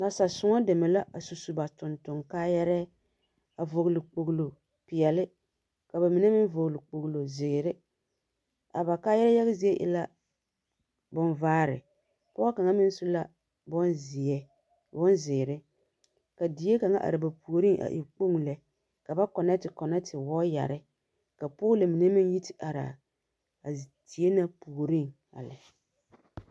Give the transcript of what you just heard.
Nansa-sõͻ deme la a su su ba tontoŋ-kaayԑrԑԑ, a vͻgele kpogilo peԑle, ka ba mine meŋ vͻgele kpogilo zeere. A ba kaayԑrԑԑ yage zie e la yͻͻvare. Pͻge kaŋa meŋ su la bonzeԑ bonzeere, ka die kaŋa are ba puoriŋ a e kpoŋi lԑ, ka ba kͻnԑԑte kͻnԑԑte wͻͻyԑre ka poolo mine meŋ yi te araa a zie na puoriŋ a lԑ.